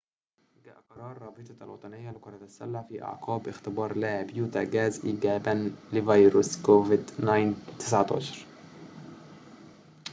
جاء قرار رابطة الوطنية لكرة السلة في أعقاب اختبار لاعب يوتا جاز إيجابياً لفيروس كوفيد-19